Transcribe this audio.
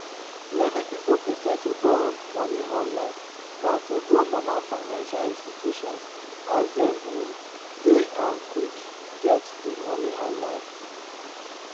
many people prefer to borrow money online dan to go normal financial institutions as dem um deynquick get di money online